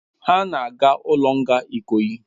Ha na aga ulo nga ikoyi